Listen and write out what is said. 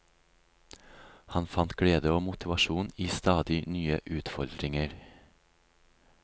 Han fant glede og motivasjon i stadig nye utfordringer.